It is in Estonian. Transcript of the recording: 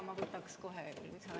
Jaa, ma võtaks ka kohe lisaaja.